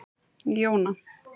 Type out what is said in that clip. Jóna